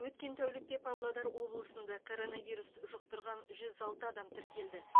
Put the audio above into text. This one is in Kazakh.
өткен тәулікте павлодар облысында коронавирус жұқтырған жүз алты адам тіркелді